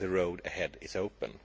The road ahead is open.